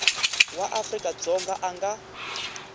wa afrika dzonga a nga